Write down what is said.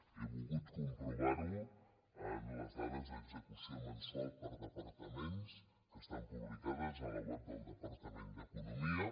he vol·gut comprovar·ho amb les dades d’execució mensu·als per departaments que estan publicades a la web del departament d’economia